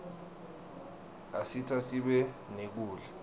asita sibe nekudla